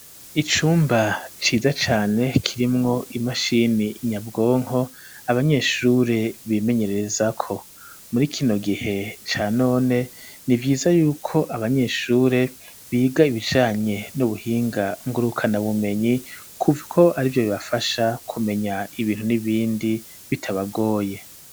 Icumba ciza cane kirimwo imashini nyabwonko abanyeshure bimenyererezako, muri kino gihe Ca none nivyiza yuko abanyeshure biga ibijanye n'ubuhinga ngurukanabumenyi, kuko arivyo bibafasha kumenya ibintu n'ibindi bitabagoye.